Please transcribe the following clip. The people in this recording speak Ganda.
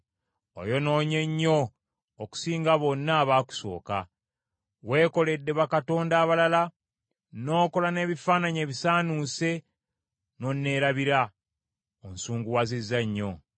Oyonoonye nnyo okusinga bonna abaakusooka. Weekoledde bakatonda abalala, n’okola n’ebifaananyi ebisaanuuse n’onneerabira; onsunguwazizza nnyo.